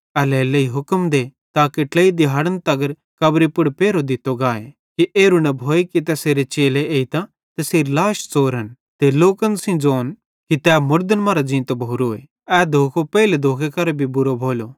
एल्हेरेलेइ हुक्म दे ताके ट्लाई दिहाड़न तगर कब्री पुड़ पेरहो दित्तो गाए कि एरू न भोए कि तैसेरे चेले एइतां तैसेरी लाश च़ोरन ते लोकन सेइं ज़ोन कि तै मुड़दन मरां ज़ींतो भोरोए ए धोखो पेइले धोखे करां भी जादे बुरो भोलो